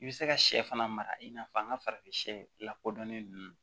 I bɛ se ka sɛ fana mara i n'a fɔ an ka farafin sɛ lakodɔnnen ninnu